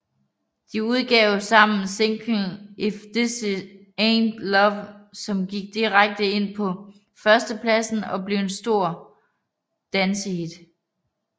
De udgav sammen singlen If This Aint Love som gik direkte ind på førstepladsen og blev et stor dancehit